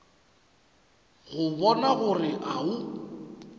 go bona gore o a